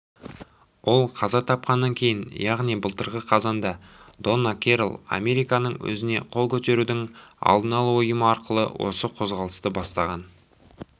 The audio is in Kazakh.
ол қаза тапқаннан кейін яғни былтырғы қазанда донна керрол американың өзіне қол көтерудің алдын алу ұйымы арқылы осы қозғалысты бастаған